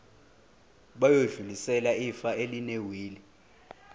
bayodlulisela ifa elinewili